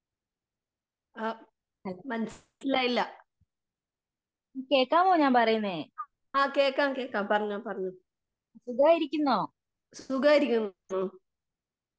ആ മനസിലായില്ല. ആ കേക്കാം കേക്കാം പറഞ്ഞോ? സുഖമായിരിക്കുന്നു.